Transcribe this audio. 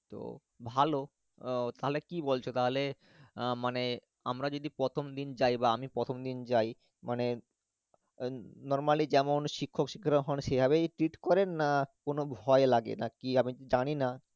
তো ভালো আহ তাহলে কি বলছো তাহলে আহ মানে আমরা যদি প্রথমদিন যাই বা আমি প্রথমদিন যাই, মানে normally যেমন শিক্ষক শিক্ষিকারা ওখানে সেইভাবেই treat করেন না কোনো ভয় লাগে না কি আমি জানিনা